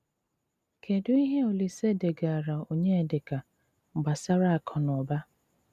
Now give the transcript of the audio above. Kédụ íhé Òlíse dégarà Ọnyédíkà gbasárà àkụ nà ụ́bà?